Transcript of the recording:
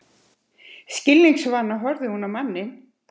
Skilningsvana horfir hún á manninn.